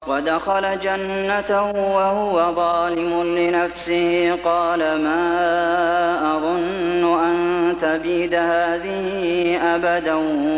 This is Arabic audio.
وَدَخَلَ جَنَّتَهُ وَهُوَ ظَالِمٌ لِّنَفْسِهِ قَالَ مَا أَظُنُّ أَن تَبِيدَ هَٰذِهِ أَبَدًا